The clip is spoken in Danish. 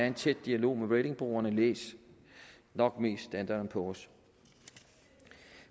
en tæt dialog med ratingbureauerne læs nok mest standard poors